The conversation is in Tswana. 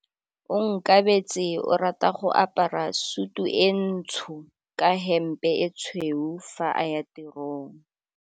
Onkabetse o rata go apara sutu e ntsho ka hempe e tshweu fa a ya tirong.